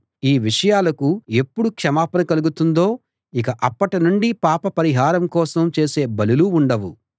ఈ విషయాలకు ఎప్పుడు క్షమాపణ కలుగుతుందో ఇక అప్పటి నుండి పాప పరిహారం కోసం చేసే బలులు ఉండవు